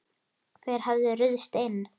Hver hafði ruðst inn?